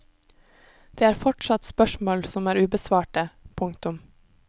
Det er fortsatt spørsmål som er ubesvarte. punktum